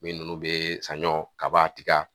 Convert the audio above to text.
Min ninnu bɛ sanɲɔ, kaba, tiga